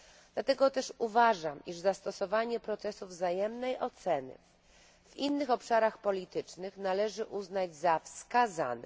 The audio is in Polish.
Dlatego też uważam, iż zastosowanie procesu wzajemnej oceny w innych obszarach politycznych należy uznać za wskazane.